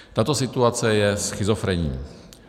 Tato situace je schizofrenní.